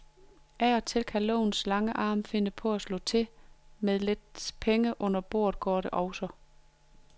Af og til kan lovens lange arm finde på at slå til, men med lidt penge under bordet går det også.